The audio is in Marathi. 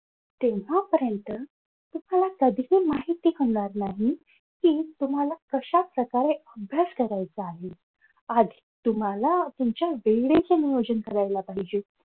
तेव्हापर्यंत तुम्हाला कधीही माहित पडणार नाही कि तुम्हाला कश्या प्रकारे अभ्यास करायचा आहे आधी तुम्हाला तुमच्या वेळेचे नियोजन करायला पाहिजे.